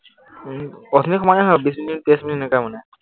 উম অথনিৰ সমানেই হয়, বিশ মিনিট ত্ৰিশ মিনিট এনেকা মানে।